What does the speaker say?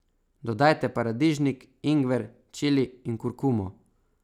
Dodajte paradižnik, ingver, čili in kurkumo.